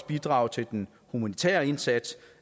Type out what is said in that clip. bidraget til den humanitære indsats